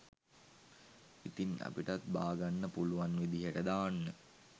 ඉතින් අපිටත් බා ගන්න පුලුවන් විදියට දාන්න